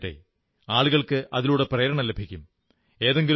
ജനങ്ങൾ വായിക്കട്ടെ അവർക്ക് അതിലൂടെ പ്രേരണ ലഭിക്കും